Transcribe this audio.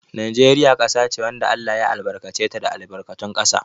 Najeriya ƙasa ce wanda Allah ya albarkace ta da albarkatun ƙasa.